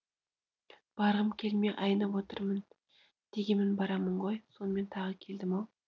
барғым келмей айнып отырмын дегенмен барамын ғой сонымен тағы келдім ау